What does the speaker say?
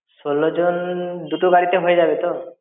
ষোলো জন দুটো গাড়িতে হয়ে যাবে তো?